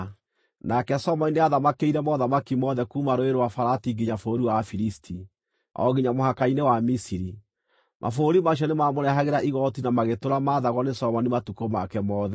Nake Solomoni nĩathamakĩire mothamaki mothe kuuma Rũũĩ rwa Farati nginya bũrũri wa Afilisti, o nginya mũhaka-inĩ wa Misiri. Mabũrũri macio nĩmamũrehagĩra igooti na magĩtũũra maathagwo nĩ Solomoni matukũ make mothe.